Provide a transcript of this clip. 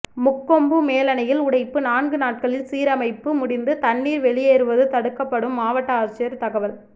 முக்கொம்பு மேலணையில் உடைப்பு நான்கு நாட்களில் சீரமைப்பு முடிந்து தண்ணீர் வெளியேறுவது தடுக்கப்படும் மாவட்ட ஆட்சியர் தகவல்